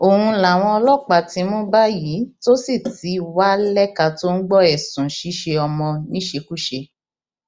òun làwọn ọlọpàá ti mú báyìí tó sì ti wá lẹka tó ń gbọ ẹsùn ṣíṣe ọmọ níṣekúṣe